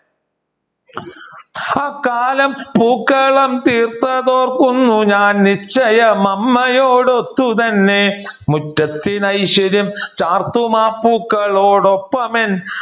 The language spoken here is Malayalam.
ആ കാലം പൂക്കളം തീർത്തത് ഓർക്കുന്നു ഞാൻ നിശ്ചയം അമ്മയോടൊത്തു തന്നെ മുറ്റത്തിന് അയ്ശ്വര്യം ചാർത്തും ആ പൂക്കളോട് ഒപ്പമെന്